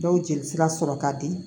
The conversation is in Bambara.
Dɔw jelisira sɔrɔ ka di